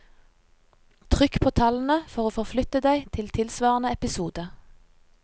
Trykk på tallene, for å forflytte deg til tilsvarende episode.